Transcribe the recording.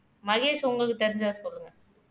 மகேஷ் உங்களுக்கு தெரிஞ்சதை சொல்லுங்க